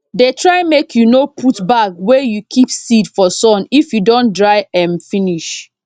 dey try make you no put bag wey you keep seed for sun if you don dry m finish